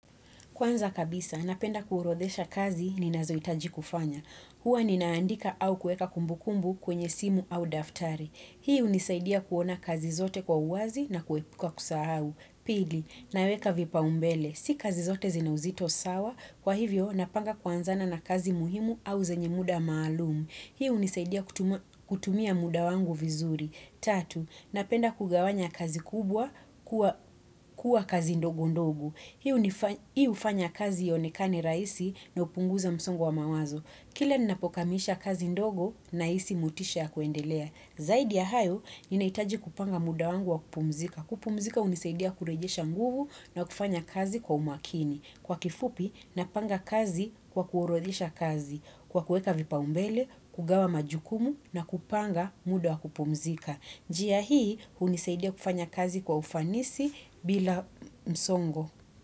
Kwanza kabisa, napenda kuurodhesha kazi ni nazoitaji kufanya. Hua ninaandika au kueka kumbukumbu kwenye simu au daftari. Hiu nisaidia kuona kazi zote kwa uwazi na kuepuka kusahau. Pili, naweka vipa umbele. Si kazi zote zinauzito sawa, kwa hivyo napanga kwanza na na kazi muhimu au zenye muda maalumu. Hiu nisaidia kutumia muda wangu vizuri. Tatu, napenda kugawanya kazi kubwa kuwa kazi ndogu ndogu. Hiu ufanya kazi ionekani rahisi na upunguza msongo wa mawazo. Kile ninapokamisha kazi ndogo na isi mutisha ya kuendelea. Zaidi ya hayo, ninaitaji kupanga muda wangu wa kupumzika. Kupumzika unisaidia kurejisha nguvu na kufanya kazi kwa umakini. Kwa kifupi, napanga kazi kwa kuorodhisha kazi. Kwa kuweka vipa umbele, kugawa majukumu na kupanga muda wa kupumzika. Njia hii, unisaidia kufanya kazi kwa ufanisi bila msongo.